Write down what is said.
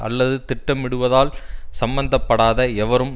அல்லது திட்டமிடுவதால் சம்பந்த படாத எவரும்